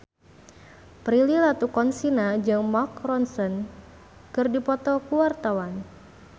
Prilly Latuconsina jeung Mark Ronson keur dipoto ku wartawan